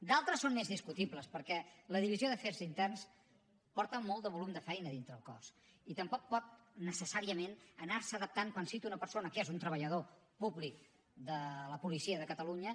d’altres són més discutibles perquè la divisió d’afers interns porta molt de volum de feina dintre el cos i tampoc pot necessàriament anar se adaptant quan cita una persona que és un treballador públic de la policia de catalunya